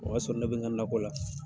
O y'a sɔrɔ ne bɛ n ka nakɔ la.